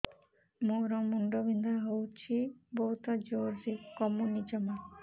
ମୋର ମୁଣ୍ଡ ବିନ୍ଧା ହଉଛି ବହୁତ ଜୋରରେ କମୁନି ଜମା